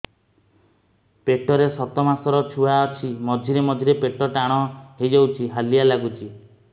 ପେଟ ରେ ସାତମାସର ଛୁଆ ଅଛି ମଝିରେ ମଝିରେ ପେଟ ଟାଣ ହେଇଯାଉଚି ହାଲିଆ ଲାଗୁଚି